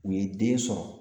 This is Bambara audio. U ye den sɔrɔ